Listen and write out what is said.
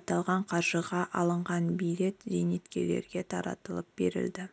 аталған қаржыға алынған билет зейнеткерлерге таратылып берілді